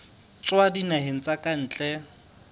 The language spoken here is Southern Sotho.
tswa dinaheng tsa ka ntle